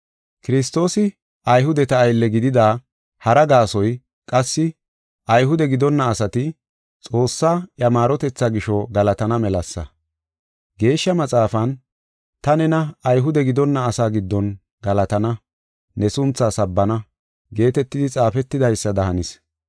Kiristoosi Ayhudeta aylle gidida hara gaasoy qassi Ayhude gidonna asati Xoossaa iya maarotethaa gisho galatana melasa. Geeshsha Maxaafan, “Ta nena Ayhude gidonna asaa giddon galatana; ne sunthaa sabbana” geetetidi xaafetidaysada hanis.